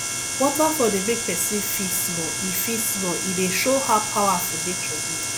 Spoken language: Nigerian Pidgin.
waterfall dey make pesin feel small e feel small e dey show how powerful nature be